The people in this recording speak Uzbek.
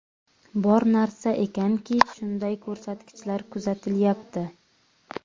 Bor narsa ekanki, shunday ko‘rsatkichlar kuzatilyapti.